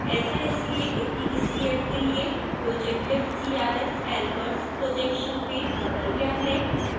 ऐसा इसलिए क्योंकि इस layer के लिए projected crs albers projection में बदल गया है